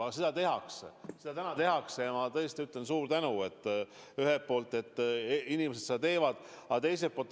Aga seda tehakse, seda täna tehakse ja ma tõesti ütlen suur tänu, et inimesed seda teevad.